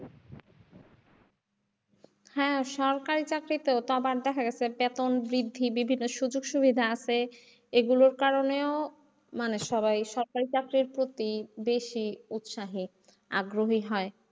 হ্যাঁ সরকারি চাকরি তো আবার দেখা গেছে বেতন বৃদ্ধি বিভিন্ন সুযোগ সুবিধা আছে এগুলোর কারনেও মানে সবাই সরকারি চাকরির প্রতি বেশি উৎসাহী আগ্রহি হয়।